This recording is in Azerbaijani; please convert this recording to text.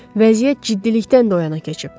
Vəziyyət ciddilikdən də o yana keçib.